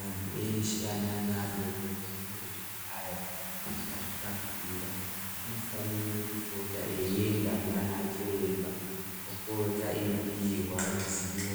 Antu eshe ane ana adodori, uyezve neayo akazvitakura anofanire kupota eienda kunana chiremba , opota eipihwa ruzivo